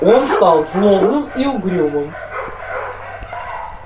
он стал злобным и угрюмым